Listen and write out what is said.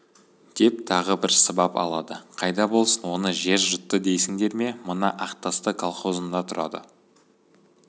деп тағы бір сыбап алады қайда болсын оны жер жұтты дейсіңдер ме мына ақтасты колхозында тұрады